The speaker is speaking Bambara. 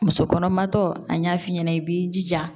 Muso kɔnɔmatɔ an y'a f'i ɲɛna i b'i jija